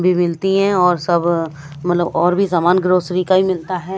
भी मिलती है और सब मलब और भी सामान ग्रोसरी का भी मिलता है।